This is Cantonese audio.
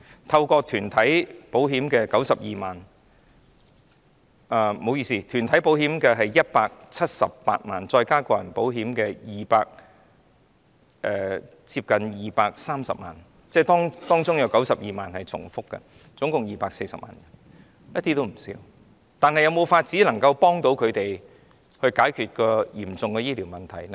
透過團體購買保險的有178萬人，加上個人購買保險的近230萬人，當中有92萬人是重複的，即合共240萬人，數字絕對不低，但能否幫助他們解決嚴重的醫療問題呢？